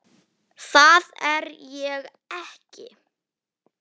Það er ég ekki.